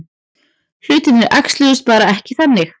Hlutirnir æxluðust bara ekki þannig.